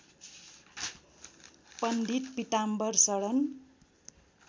पण्डित Pitambar शरण